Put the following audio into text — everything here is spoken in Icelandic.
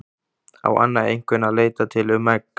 Á Anna einhvern að leita til um egg?